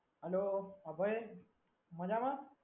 Hello Abhay, મજામાં?